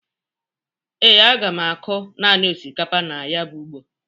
Ee, aga m akụ nanị osikapa na ya bụ ugbo